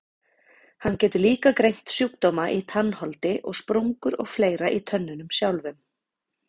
Hann getur líka greint sjúkdóma í tannholdi og sprungur og fleira í tönnunum sjálfum.